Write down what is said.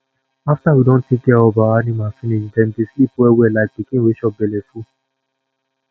after we don take care of our animals finish dem dey sleep wellwell like pikin wey chop belleful